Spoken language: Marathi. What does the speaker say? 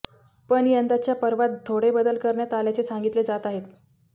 पण यंदाच्या पर्वात थोडे बदल करण्यात आल्याचे सांगितले जात आहेत